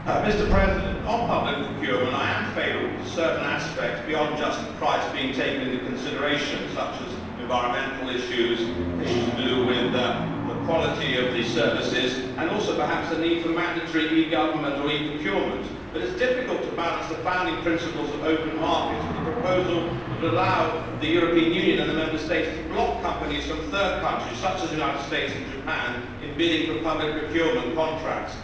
Mr President, on public procurement, I am favourable to certain aspects beyond just the price being taken into consideration, such as environmental issues, issues to do with the quality of the services, and also perhaps the need for mandatory e government or e procurement. But it is difficult to balance the founding principles of open markets with a proposal which would allow the European Union and the Member States to block companies from third countries, such as the United States and Japan, from bidding for public procurement contracts.